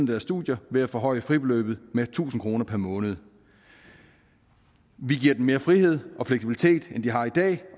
deres studier ved at forhøje fribeløbet med tusind kroner per måned vi giver dem mere frihed og fleksibilitet end de har i dag